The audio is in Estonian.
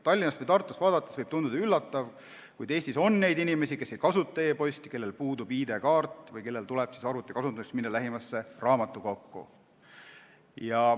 Tallinnast või Tartust vaadates võib tunduda üllatav, kuid Eestis on inimesi, kes ei kasuta e-posti, kellel puudub ID-kaart või kellel tuleb arvuti kasutamiseks minna lähimasse raamatukokku.